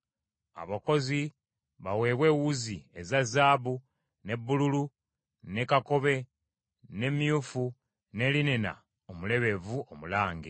Abakozi baweebwe ewuzi eza zaabu, ne bbululu, ne kakobe, ne myufu, ne linena omulebevu omulange.